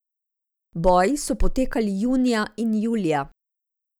Boji so potekali junija in julija.